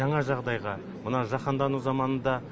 жаңа жағдайға мына жаһандану заманында